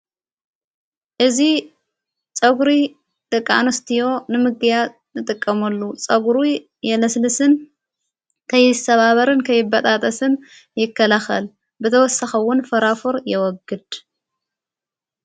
እዙ ጸጕሪ ደቃ ኣንስትዮ ንምጊያት ንጥቀመሉ ጸጕሩ የለስልስን ከይሰባበርን ከይበጣጠስን ይከላኸል ብተወሰኺ እውን ፈራፎር የወግድ።